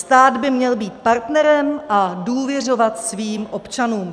Stát by měl být partnerem a důvěřovat svým občanům.